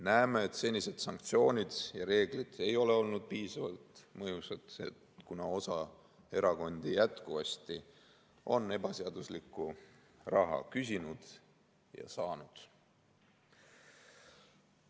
Näeme, et senised sanktsioonid ja reeglid ei ole olnud piisavalt mõjusad, kuna osa erakondi on jätkuvasti ebaseaduslikku raha küsinud ja saanud.